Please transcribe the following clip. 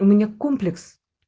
у меня комплекс